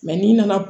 n'i nana